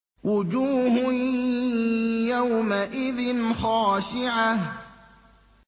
وُجُوهٌ يَوْمَئِذٍ خَاشِعَةٌ